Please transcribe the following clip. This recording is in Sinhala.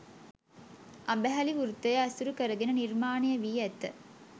අඹහැලි වෘත්තය ඇසුරු කරගෙන නිර්මාණය වී ඇත